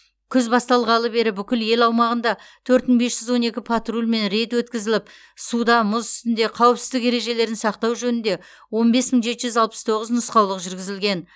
күз басталғалы бері бүкіл ел аумағында төрт мың бес жүз он екі патруль мен рейд өткізіліп суда мұз үстінде қауіпсіздік ережелерін сақтау жөнінде он бес мың жеті жүз алпыс тоғыз нұсқаулық жүргізілген